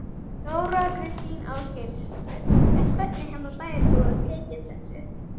Þóra Kristín Ásgeirsdóttir: En hvernig hafa bæjarbúar tekið þessu?